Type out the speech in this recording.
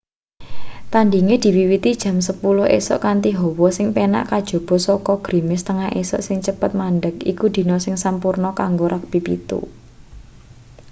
tandhinge diwiwiti jam 10:00 esuk kanthi hawa sing penak kajaba saka grimis tengah esuk sing cepet mandheg iku dina sing sampurna kanggo rugbi 7